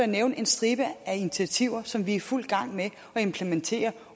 nævne en stribe initiativer som vi er i fuld gang med at implementere